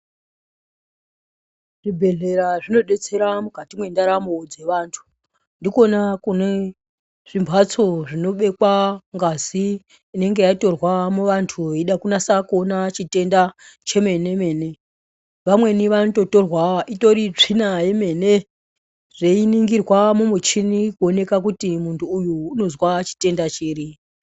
Zvibhehlera zvinodetsera mukati mwendaramu dzevantu ndikona kunezvimbatso zvinobekwa ngazi inenge yatorwa muvantu veida kunasa kuona chitenda chemene mene vamweni vanototorwa itori tsvina yemene zveiningirwa mumuchinini kuonekwa kuti muntu uyu unozwa chitenda chiri.